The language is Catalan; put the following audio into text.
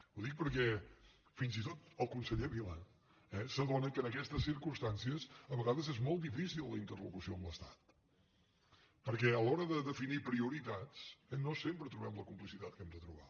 ho dic perquè fins i tot el conseller vila eh s’adona que en aquestes circumstàncies a vegades és molt difícil la interlocució amb l’estat perquè a l’hora de definir prioritats no sempre trobem la complicitat que hem de trobar